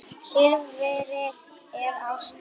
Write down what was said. Silfrið er ástin mín.